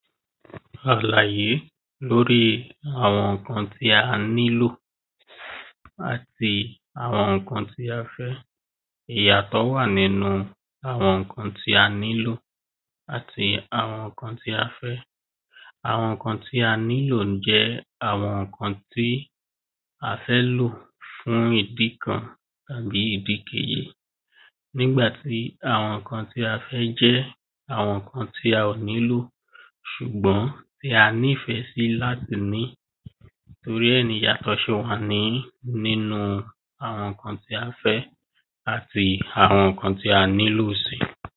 Àlàyé lórí àwọn nǹkan tí a nílò, àti àwọn nǹkan tí a fẹ́. Ìyàtọ̀ wà nínú àwọn nǹkã tí a nílò àti àwọn nǹkan tí a fẹ́. Àwọn nǹkã tí a nílò jé àwọn nǹkan tí a fẹ́ lò fún ìdì kan tàbí ìdí kejì. Nígbàtí àwọn nǹkan tí a fẹ́ jẹ́ àwọn nǹkã tí a ò nílò ṣùgbón tí a nífẹ̀ sí láti ní. Torí ẹ̀ ni ìyàtọ̀ ṣe wà ní nínú àwọn nǹkan tí a fẹ́ àti àwọn nǹkan tí a nílò sí.